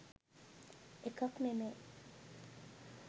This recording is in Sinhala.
එකක් නෙමේ.